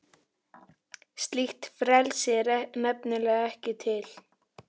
Slíkt frelsi er nefnilega ekki til.